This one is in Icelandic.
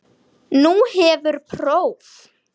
Nú hefur próf.